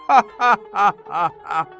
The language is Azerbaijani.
Ha ha ha!